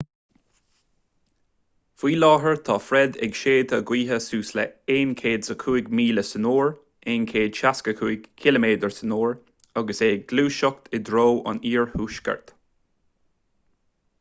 faoi láthair tá fred ag séideadh gaoithe suas le 105 míle san uair 165 km/h agus é ag gluaiseacht i dtreo an iarthuaiscirt